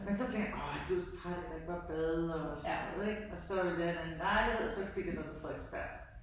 Men tænker jeg, åh jeg blev så træt af at der ikke var bad og sådan noget ik og så ville jeg have en anden lejlighed så fik jeg noget på Frederiksberg